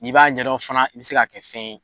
Ni b'a ɲɛdɔn fana i bi se ka kɛ fɛn ye.